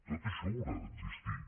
tot això haurà d’existir